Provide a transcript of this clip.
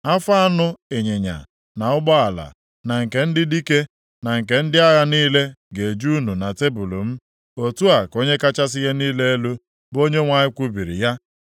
Afọ anụ ịnyịnya, na ụgbọala, na nke ndị dike, na nke ndị agha niile ga-eju unu na tebul m.’ Otu a ka Onye kachasị ihe niile elu, bụ Onyenwe anyị kwubiri ya.